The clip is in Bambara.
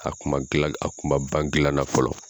A kun ma gila a kun ma ban gila nan fɔlɔ